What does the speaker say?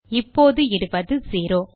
இப்போது இடுவது செரோ